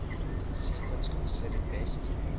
sequence considered best